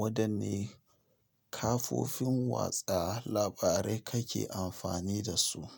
Wadanne kafofin watsa labarai kake amfani da su?